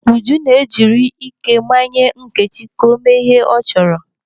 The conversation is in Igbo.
Uju na-ejiri ike manye Nneka ka o mee ihe ọ chọrọ.